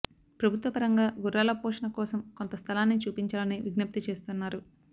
ప్రభుత్వ పరంగా గుర్రాల పోషణ కోసం కొంత స్థలాన్ని చూపించాలని విజ్ఞప్తి చేస్తున్నారు